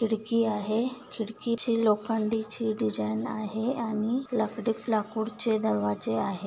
खिडकी आहे खिडकीची लोखंडीची डिझाईन आहे आणि लकडी-लाकूडचे दरवाजे आहे.